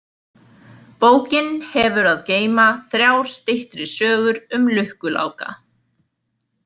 Bókin hefur að geyma þrjár styttri sögur um Lukku Láka.